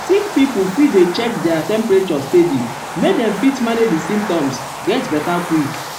sick pipo fit dey check their temperature steady make dem fit manage di symptoms get beta quick.